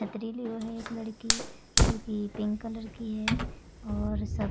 पटरीरी है वो लड़की जो की पिंक कलर की है और सब --